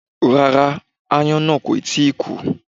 Rárá, aáyán náà kò tí ì kú